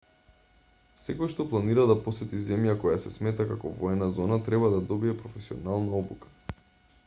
секој што планира да посети земја која се смета како воена зона треба да добие професионална обука